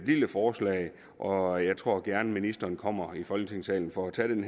lille forslag og jeg tror gerne at ministeren kommer i folketingssalen og tager den